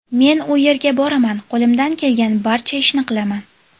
Men u yerga boraman, qo‘limdan kelgan barcha ishni qilaman.